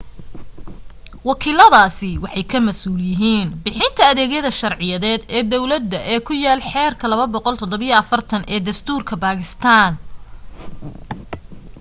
wakiiladaasi waxay ka masuul yihiin bixinta adeegyada sharciyeed ee dawladda ee ku yaal xeerka 247 ee dastuurka bakistaan